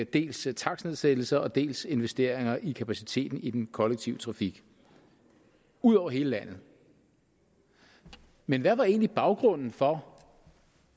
dels takstnedsættelser dels investeringer i kapaciteten i den kollektive trafik ud over hele landet men hvad var egentlig baggrunden for